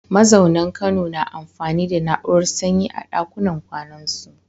Mazaunan Kano na amfani da na’urar sanyi a ɗakunan kwanansu.